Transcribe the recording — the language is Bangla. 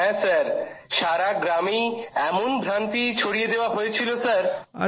হ্যাঁ স্যার সারা গ্রামেই এমন ভ্রান্তি ছড়িয়ে দেওয়া হয়েছিল স্যার